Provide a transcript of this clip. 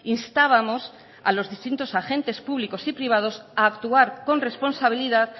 instábamos a los distintos agentes públicos y privados a actuar con responsabilidad